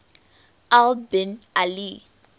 al bin ali